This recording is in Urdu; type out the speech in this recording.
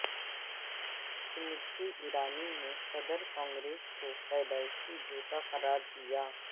سمرتی ایرانی نے صدر کانگریس کو پیدائشی جھوٹا قرار دیا